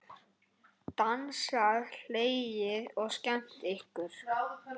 Dansað, hlegið og skemmt ykkur.